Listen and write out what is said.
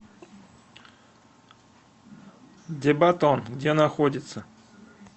дебатон где находится